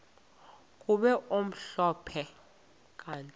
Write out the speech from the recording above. kube mhlophe kanti